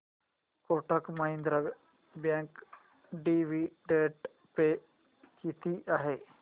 Kotak Mahindra bank dividend pay किती आहे